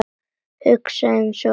Hugsa einsog einn maður.